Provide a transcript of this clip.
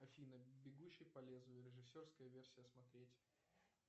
афина бегущий по лезвию режиссерская версия смотреть